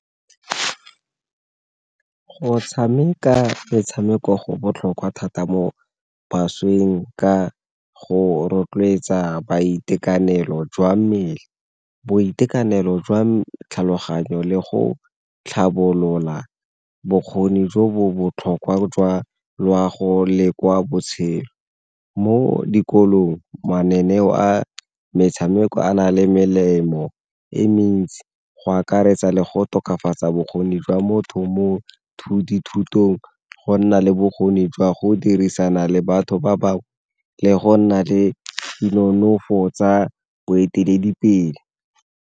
Go tshameka metshameko go botlhokwa thata mo bašweng ka go rotloetsa boitekanelo jwa mmele, boitekanelo jwa tlhaloganyo, le go tlhabolola bokgoni jo bo botlhokwa jwa loago le kwa botshelo. Mo dikolong mananeo a metshameko a na le melemo e mentsi go akaretsa le go tokafatsa bokgoni jwa motho mo dithutong, go nna le bokgoni jwa go dirisana le batho ba bangwe, le go nna le dinonofo tsa boeteledipele.